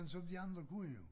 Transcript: Som de andre kunne jo